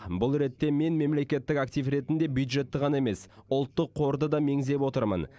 бұл ретте мен мемлекеттік актив ретінде бюджетті ғана емес ұлттық қорды да меңзеп отырмын